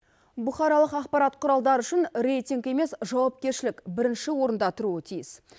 бұқаралық ақпарат құралдары үшін рейтинг емес жауапкершілік бірінші орында тұруы тиіс